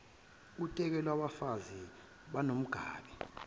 uteku lwabafazi bakwanomgabhi